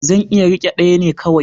Zan iya rike ɗaya ne kawai.